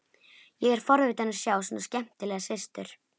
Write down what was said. Ég er forvitinn að sjá svona skemmtilega systur.